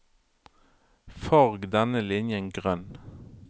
Farg denne linjen grønn